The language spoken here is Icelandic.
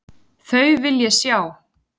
Þau vil ég sjá.